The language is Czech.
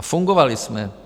A fungovali jsme.